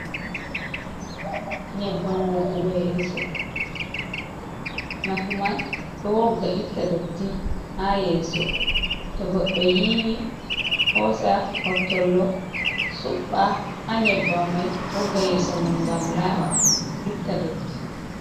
"Nyebbam" woggugo yeso nafu man ɗo wogga itta dotti ha yeso to goddo yiwi hosa hottollo suɓba ha nyebbam mai wogga yeso mom ngam laba itta ɗotti.